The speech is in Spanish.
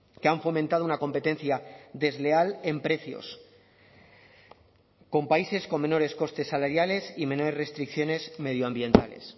que han fomentado una competencia desleal en precios con países con menores costes salariales y menores restricciones medioambientales